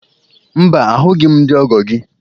Mba, ahụghị m ndị ọgọ gị